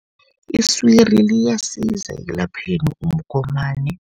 Iswiri liyasiza ekulapheni umgomani.